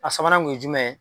A sabanan kun ye jumɛn ye